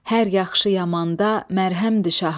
Hər yaxşı yamanda məlhəmdi şaha.